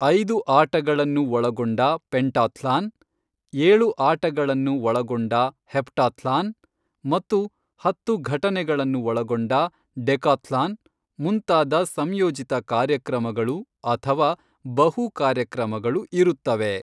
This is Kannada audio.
ಐದು ಆಟಗಳನ್ನು ಒಳಗೊಂಡ ಪೆಂಟಾಥ್ಲಾನ್, ಏಳು ಆಟಗಳನ್ನು ಒಳಗೊಂಡ ಹೆಪ್ಟಾಥ್ಲಾನ್, ಮತ್ತು ಹತ್ತು ಘಟನೆಗಳನ್ನು ಒಳಗೊಂಡ ಡೆಕಾಥ್ಲಾನ್ ಮುಂತಾದ "ಸಂಯೋಜಿತ ಕಾರ್ಯಕ್ರಮಗಳು" ಅಥವಾ "ಬಹು ಕಾರ್ಯಕ್ರಮಗಳು" ಇರುತ್ತವೆ.